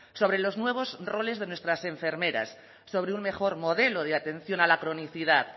sobre los nuevos roles de nuestras enfermeras sobre un mejor modelo de atención a la cronicidad